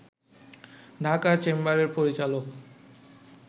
ঢাকা চেম্বারের পরিচালক